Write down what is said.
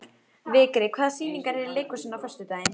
Vigri, hvaða sýningar eru í leikhúsinu á föstudaginn?